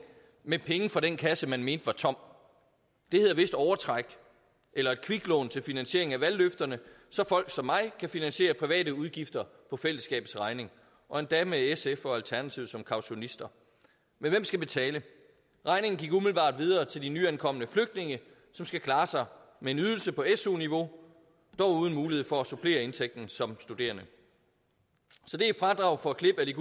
med penge fra den kasse man mente var tom det hedder vist overtræk eller et kviklån til finansiering af valgløfterne så folk som mig kan finansiere private udgifter på fællesskabets regning og endda med sf og alternativet som kautionister men hvem skal betale regningen gik umiddelbart videre til de nyankomne flygtninge som skal klare sig med en ydelse på su niveau dog uden mulighed for at supplere indtægten som studerende så det er et fradrag for klipning